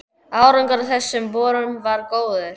Árangur af þessum borunum varð góður.